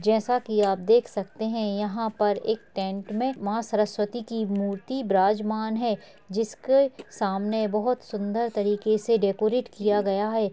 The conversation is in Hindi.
जैसा की आप देख सकते हैं यहाँ पर एक टेंट में माँ सरस्वती की मूर्ति विराजमान है जिसके सामने बहोत सुंदर तरिके से डेकोरेट किया गया है।